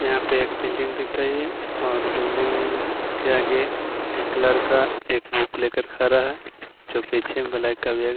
यहापे एक बिल्डिंग दिख रही है और बिल्डिंग के आगे एक लड़का एक बाइक लेकर खड़ा है ज्यों पीछे ब्लॅक --